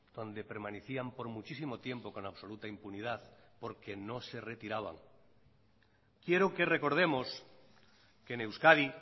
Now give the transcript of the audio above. donde permanecían por muchísimo tiempo con absoluta impunidad porque no se retiraban quiero que recordemos que en euskadi